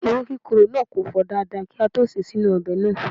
Ewe kikoro na ko fo dada ki a to se e sinu obe naa